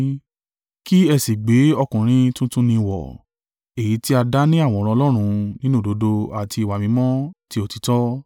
kí ẹ sì gbé ọkùnrin tuntun ni wọ̀, èyí tí a dá ni àwòrán Ọlọ́run nínú òdodo àti ìwà mímọ́ ti òtítọ́.